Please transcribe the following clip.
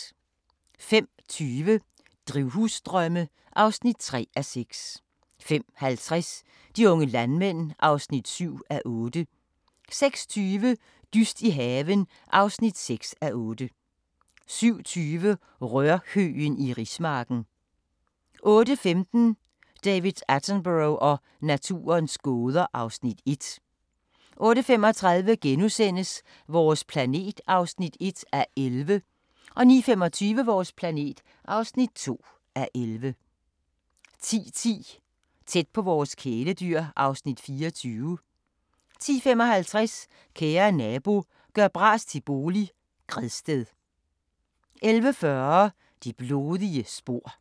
05:20: Drivhusdrømme (3:6) 05:50: De unge landmænd (7:8) 06:20: Dyst i haven (6:8) 07:20: Rørhøgen i rismarken 08:15: David Attenborough og naturens gåder (Afs. 1) 08:35: Vores planet (1:11)* 09:25: Vores planet (2:11) 10:10: Tæt på vores kæledyr (Afs. 24) 10:55: Kære nabo – gør bras til bolig – Gredsted 11:40: Det blodige spor